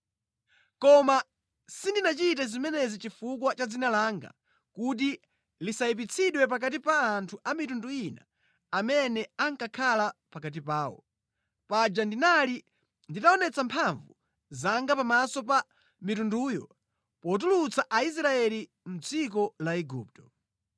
Koma sindinachite zimenezi chifukwa cha dzina langa, kuti lisayipitsidwe pakati pa anthu a mitundu ina amene ankakhala pakati pawo. Paja ndinali nditaonetsa mphamvu zanga pamaso pa mitunduyo potulutsa Aisraeli mʼdziko la Igupto.